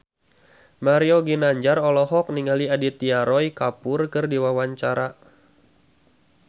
Mario Ginanjar olohok ningali Aditya Roy Kapoor keur diwawancara